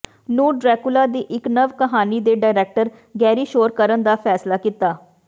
ਨੂੰ ਡ੍ਰੈਕੁਲਾ ਦੀ ਇੱਕ ਨਵ ਕਹਾਣੀ ਦੇ ਡਾਇਰੈਕਟਰ ਗੈਰੀ ਸ਼ੋਰ ਕਰਨ ਦਾ ਫੈਸਲਾ ਕੀਤਾ